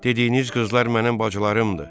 Dediyiniz qızlar mənim bacılarımdır.